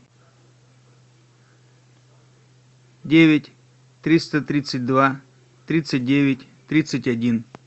девять триста тридцать два тридцать девять тридцать один